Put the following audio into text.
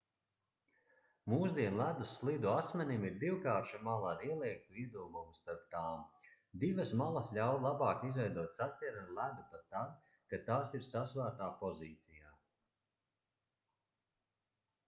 mūsdienu ledus slidu asmenim ir divkārša mala ar ieliektu iedobumu starp tām divas malas ļauj labāk izveidot saķeri ar ledu pat tad kad tās ir sasvērtā pozīcijā